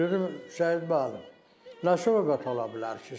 Dedim Şəyid müəllim, nə söz ola bilər ki?